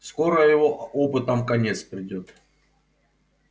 скоро его опытам конец придёт